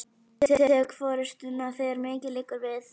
Ég tek forystuna, þegar mikið liggur við!